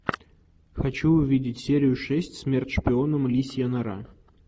хочу увидеть серию шесть смерть шпионам лисья нора